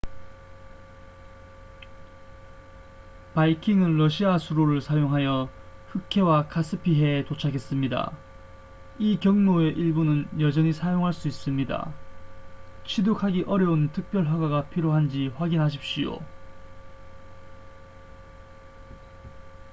바이킹은 러시아 수로를 사용하여 흑해와 카스피해에 도착했습니다 이 경로의 일부는 여전히 사용할 수 있습니다 취득하기 어려운 특별 허가가 필요한지 확인하십시오